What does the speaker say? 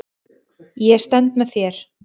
Ég stend með þér.